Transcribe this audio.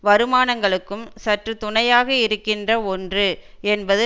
வருமானங்களுக்கும் சற்று துணையாக இருக்கின்ற ஒன்று என்பது